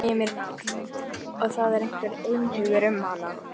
Heimir Már: Og það er einhugur um hana?